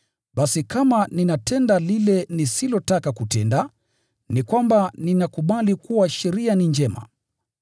Basi kama ninatenda lile nisilotaka kutenda, ni kwamba ninakubali kuwa sheria ni njema.